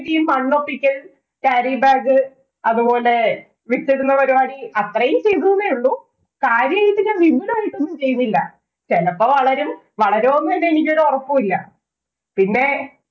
ഈ മണ്ണൊപ്പിക്കല്‍, carry bag, അതുപോലെ വിത്തിടുന്ന പരിപാടി, അത്രയും ചെയ്തുന്നേ ഉള്ളൂ. കാര്യായിട്ട് ഞാന്‍ വിപുലമായിട്ട് ഒന്നും ചെയ്യുന്നില്ല. ചെലപ്പം വളരും. വളരുവോന്നു തന്നെ എനിക്ക് ഒരൊറപ്പും ഇല്ല. പിന്നെ